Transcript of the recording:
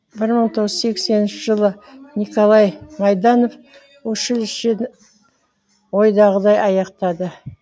бір мың тоғыз жүз сексенінші жылы николай майданов училищені ойдағыдай аяқтады